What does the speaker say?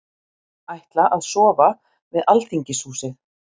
Ætla að sofa við Alþingishúsið